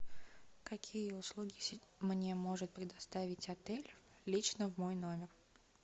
какие услуги мне может предоставить отель лично в мой номер